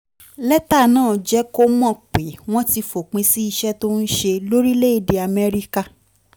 lẹ́tà náà jẹ́ kó mọ̀ pé wọ́n ti fòpin sí iṣẹ́ tó ń ṣe lórílẹ̀-èdè amẹ́ríkà